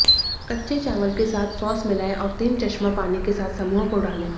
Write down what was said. कच्चे चावल के साथ सॉस मिलाएं और तीन चश्मा पानी के साथ समूह को डालें